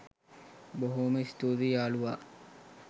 බොහොම ස්තුතියි යාලුවා.